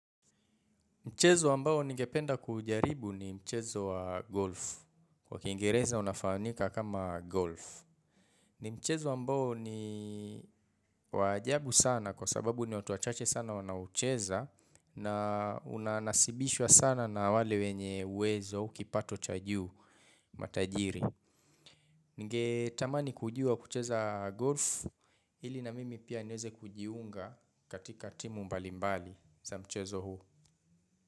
Mchezo ambao ningependa kuujaribu ni mchezo wa golf. Kwa kiingereza unafaanika kama golf. Ni mchezo ambao ni wa ajabu sana kwa sababu ni watu wachache sana wanaucheza na unanasibishwa sana na wale wenye uwezo, kipato cha juu, matajiri. Ningetamani kujua kucheza golf ili na mimi pia niweze kujiunga katika timu mbalimbali za mchezo huu.